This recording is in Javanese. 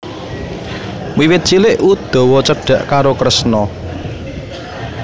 Wiwit cilik Udawa cedhak karo Kresna